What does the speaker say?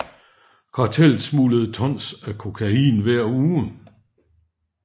Kartellet smuglede tons af kokain hver uge